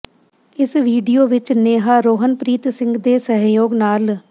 ਇਸ ਵੀਡੀਓ ਵਿੱਚ ਨੇਹਾ ਰੋਹਨਪ੍ਰੀਤ ਸਿੰਘ ਦੇ ਸਹਿਯੋਗ ਨਾਲ